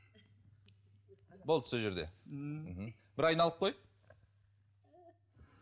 болды сол жерде мхм бір айналып қой